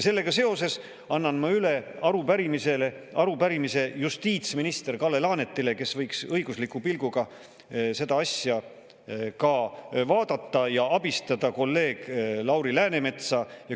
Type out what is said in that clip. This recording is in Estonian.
Sellega seoses annan ma üle arupärimise justiitsminister Kalle Laanetile, kes võiks seda asja vaadata ka õiguslikust ja abistada kolleeg Lauri Läänemetsa.